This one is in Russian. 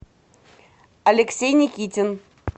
алексей никитин